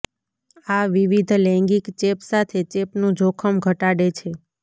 આ વિવિધ લૈંગિક ચેપ સાથે ચેપનું જોખમ ઘટાડે છે